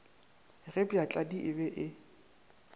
ge bjatladi e be e